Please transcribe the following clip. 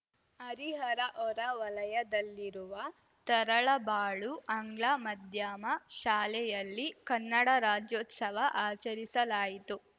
ಹರಿಹರ ಹೊರವಲಯದಲ್ಲಿರುವ ತರಳಬಾಳು ಆಂಗ್ಲ ಮಧ್ಯಮ ಶಾಲೆಯಲ್ಲಿ ಕನ್ನಡ ರಾಜ್ಯೋತ್ಸವ ಆಚರಿಸಲಾಯಿತು